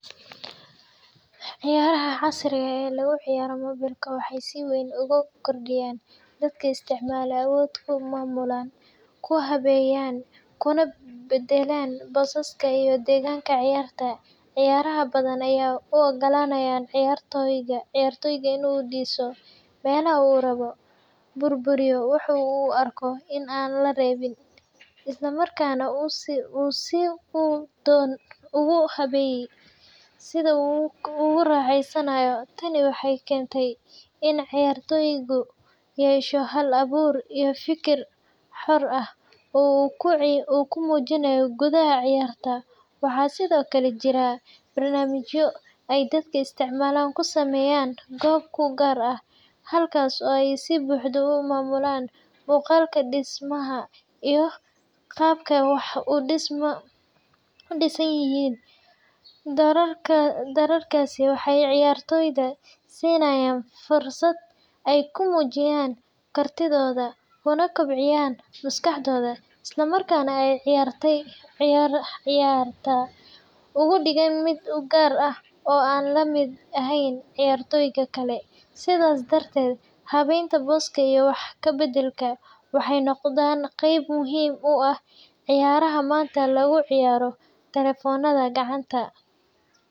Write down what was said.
Ciyaaraha casriga ah ee lagu ciyaaro moobilka waxay si weyn ugu kordhiyeen dadka isticmaala awood ay ku maamulaan, ku habeeyaan, kuna beddelaan boosaska iyo deegaanka ciyaarta. Ciyaaro badan ayaa u oggolaanaya ciyaartoyga in uu dhiso meelaha uu rabo, burburiyo waxa uu u arko in aan la rabin, isla markaana uu si uu doono ugu habeeyo sida uu ku raaxaysanayo. Tani waxay keentay in ciyaartoygu yeesho hal-abuur iyo fikir xor ah oo uu ku muujiyo gudaha ciyaarta. Waxaa sidoo kale jira barnaamijyo ay dadka isticmaala ku sameeyaan goob u gaar ah, halkaas oo ay si buuxda u maamulaan muuqaalka, dhismaha, iyo qaabka wax u dhisan yihiin. Doorarkaasi waxay ciyaartoyda siinayaan fursad ay ku muujiyaan kartidooda, kuna kobciyaan maskaxdooda, isla markaana ay ciyaarta uga dhigaan mid u gaar ah oo aan la mid ahayn ciyaartoyda kale. Sidaas darteed, habaynta booska iyo wax ka beddelka waxay noqdeen qayb muhiim u ah ciyaaraha maanta lagu ciyaaro taleefannada gacanta.